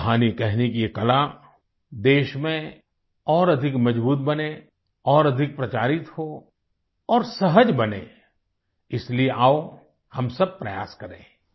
कहानी कहने की ये कला देश में और अधिक मजबूत बनें और अधिक प्रचारित हो और सहज बने इसलिए आओ हम सब प्रयास करें आई